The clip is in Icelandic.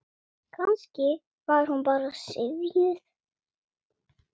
Kannski var hún bara syfjuð.